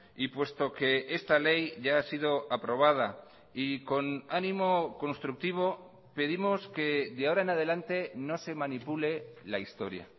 y puesto que esta ley ya ha sido aprobada y con ánimo constructivo pedimos que de ahora en adelante no se manipule la historia